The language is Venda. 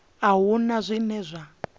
a hu na zwine zwa